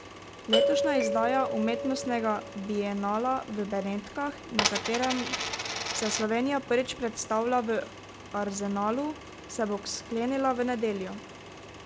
Letošnja izdaja umetnostnega bienala v Benetkah, na katerem se Slovenija prvič predstavlja v Arzenalu, se bo sklenila v nedeljo.